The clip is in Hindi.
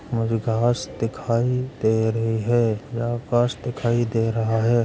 मुझे घास दिखाई दे रही हैं या बस दिखाई दे रहा हैं।